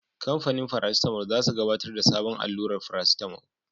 Kamfanin farasitamol za su gabatar da sabon allurar farasitamol.